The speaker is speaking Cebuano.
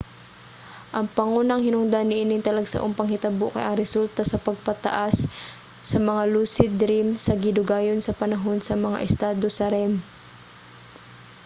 ang pangunang hinungdan niining talagsaong panghitabo kay ang resulta sa pagpataas sa mga lucid dream sa gidugayon sa panahon sa mga estado sa rem